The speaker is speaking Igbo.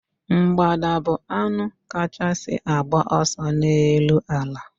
Mgbada bu anụ kachasị agba ọsọ n'elu ala